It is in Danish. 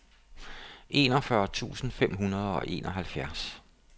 enogfyrre tusind fem hundrede og enoghalvfjerds